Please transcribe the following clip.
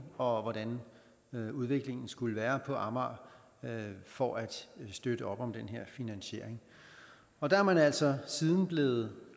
og hvordan udviklingen skulle være på amager for at støtte op om den her finansiering og der er man altså siden hen blevet